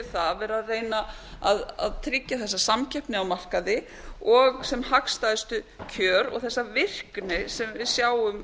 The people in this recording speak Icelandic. það að vera að reyna að tryggja þessa samkeppni á markaði og sem hagstæðustu kjör og þessa virkni sem við sjáum